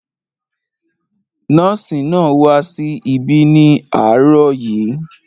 Nọ́ọ̀sì náà wá sí ibi ní àárọ̀ yìí